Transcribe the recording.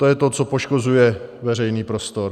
To je to, co poškozuje veřejný prostor.